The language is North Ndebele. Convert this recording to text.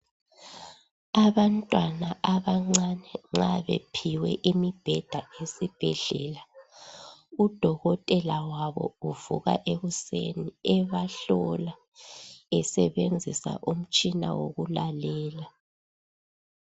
Abantwana abancane nxa bephiwe imibheda esibhedlela, udokotela wabo uvuka ekuseni ebahlola esebenzisa umtshina wokulalela.